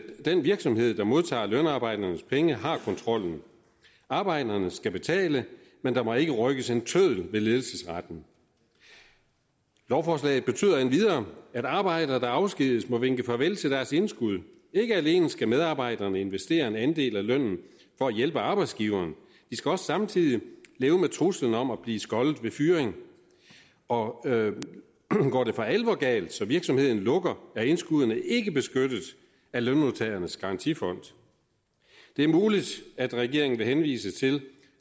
den virksomhed der modtager lønarbejdernes penge har kontrollen arbejderne skal betale men der må ikke rykkes en tøddel ved ledelsesretten lovforslaget betyder endvidere at arbejdere der afskediges må vinke farvel til deres indskud ikke alene skal medarbejderne investere en andel af lønnen for at hjælpe arbejdsgiveren de skal også samtidig leve med truslen om at blive skoddet ved fyring og går det for alvor galt så virksomheden lukker er indskuddene ikke beskyttet af lønmodtagernes garantifond det er muligt at regeringen vil henvise til